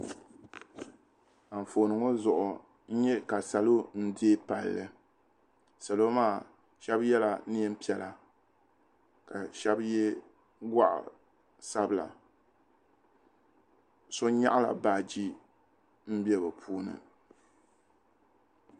Anfooni ŋɔ zuɣu n nyɛ ka salo n deeyi palli salo maa shɛba yɛla niɛn piɛla ka shɛba yɛ gɔɣa sabila so nyaɣi la baaji n bɛ bi puuni.